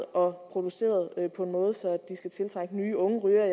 og produceret på en måde så de skal tiltrække nye unge rygere